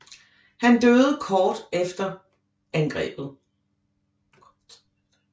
Han døde kort tid efter angrebet